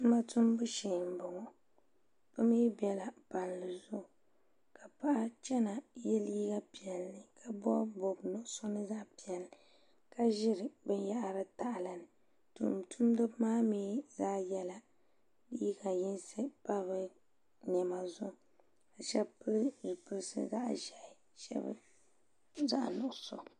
Tuma tumbu shee m-bɔŋɔ bɛ mi bela palli zuɣu ka paɣa chana n-ye liiga piɛlli ka bɔbi bɔb' nuɣiso ni zaɣ' piɛlli ka ʒiri binyahiri tahili ni tuuntumdiba maa mi zaa yɛla liiga yinsi m-pa bɛ nɛma zuɣu ka shɛba pili zipilisi zaɣ' ʒɛhi shɛba mi zaɣ'nuɣiso